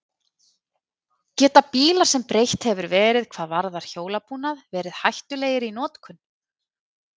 Geta bílar sem breytt hefur verið hvað varðar hjólabúnað, verið hættulegir í notkun?